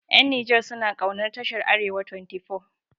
Ƴan Nijar suna kaunar tashar arewa 24